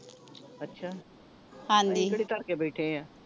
ਅੱਛਾ ਕਿਹੜੀ ਧਰ ਕੇ ਬੈਠੇ ਆਂ